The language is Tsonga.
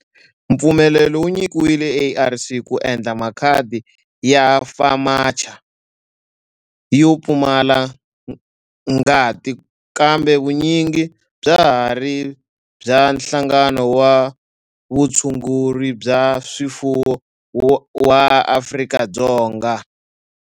Mpfumelelo wu nyikiwile ARC ku endla makhadi ya FAMACHA yo pfumala ngati kambe vun'winyi bya ha ri bya Nhlangano wa Vutshunguri bya swifuwo wa Afrika-Dzonga.